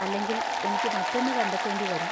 അല്ലെങ്കിൽ, എനിക്ക് മറ്റൊന്ന് കണ്ടെത്തേണ്ടിവരും.